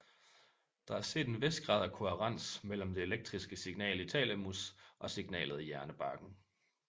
Der er set en vis grad af kohærens mellem det elektriske signal i thalamus og signalet i hjernebarken